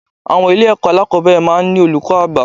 Àwọn ilé ẹ̀kọ́ alákòbẹ̀rẹ̀ máa ń ní olùkọ́ àgbà